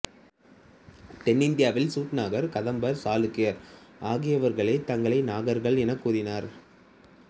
தென்னிந்தியாவில் சூட்டுநாகர் கதம்பர் சாளுக்கியர் ஆகியவர்களே தங்களை நாகர்கள் எனக்கூறினர்